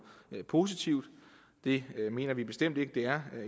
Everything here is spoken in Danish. positivt det mener vi bestemt ikke det er